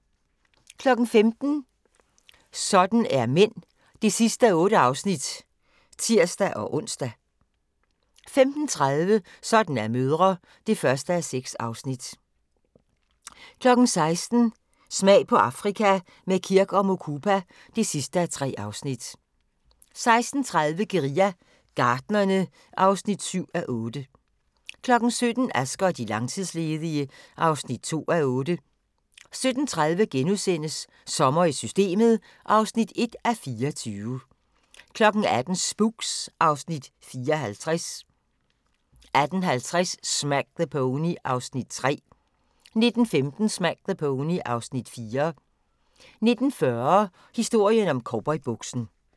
15:00: Sådan er mænd (8:8)(tir-ons) 15:30: Sådan er mødre (1:6) 16:00: Smag på Afrika – med Kirk & Mukupa (3:3) 16:30: Guerilla Gartnerne (7:8) 17:00: Asger og de langtidsledige (2:8) 17:30: Sommer i Systemet (1:24)* 18:00: Spooks (Afs. 54) 18:50: Smack the Pony (Afs. 3) 19:15: Smack the Pony (Afs. 4) 19:40: Historien om cowboybuksen